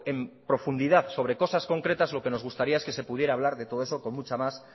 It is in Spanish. en profundidad sobre cosas concretas lo que nos gustaría es que se pudiera hablar de todo eso con mucha más